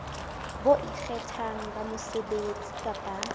bo ikgethang ba mosebetsi kapa